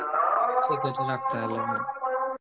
ঠিক আছে রাখছি তাহলে